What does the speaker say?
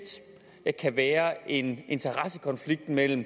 kan være en interessekonflikt mellem